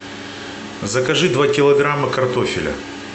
закажи два килограмма картофеля